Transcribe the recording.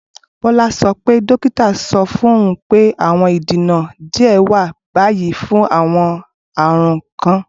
Bola sọ pe dokita sọ fun oun pe awọn idena diẹ wa bayi fun awọn arun kan.